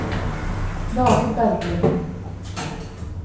David Bergli